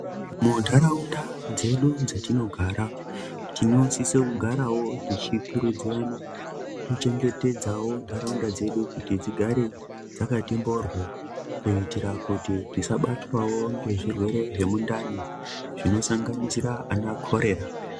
Muntaraunda dzedu dzetinogara, tinosise kugarawo tichikurudzirana kuchengetedzawo ntaraunda dzedu, kuti dzigare dzakati mboryo kuitira kuti tikabatwawo ngezvirwere zvemundani, zvinosanganisira ana khorera.